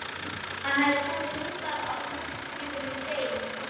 Hann hafði komið hingað á seglskipinu Stein